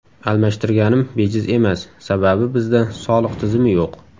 almashtirganim bejiz emas, sababi bizda soliq tizimi yo‘q.